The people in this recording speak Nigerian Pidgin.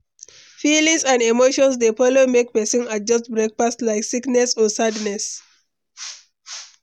feelings and emotions dey follow make pesin adjust breakfast, like sickness or sadness.